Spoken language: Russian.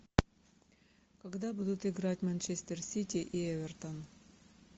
когда будут играть манчестер сити и эвертон